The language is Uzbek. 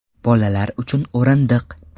Bolalar uchun o‘rindiq.